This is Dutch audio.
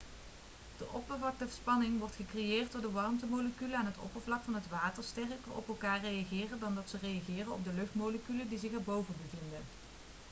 de oppervlaktespanning wordt gecreëerd doordat de watermoleculen aan het oppervlak van het water sterker op elkaar reageren dan dat ze reageren op de luchtmoleculen die zich erboven bevinden